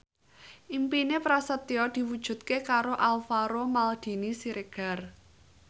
impine Prasetyo diwujudke karo Alvaro Maldini Siregar